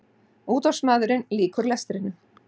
Útvarpsmaðurinn lýkur lestrinum.